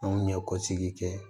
Anw ɲɛkɔsigi kɛ